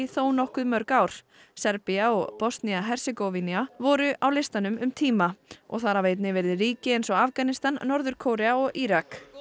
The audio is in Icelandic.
þónokkuð mörg ár Serbía og Bosnía Hersegóvína voru á listanum um tíma og þar hafa einnig verið ríki eins og Afganistan Norður Kórea og Írak